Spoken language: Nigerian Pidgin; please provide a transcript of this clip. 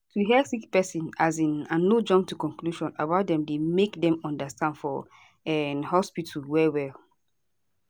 to hear sick pesin um and no jump to conclusion about dem dey make dem understand for um hospitol well well